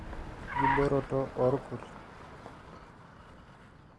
enkibooroto oorkurt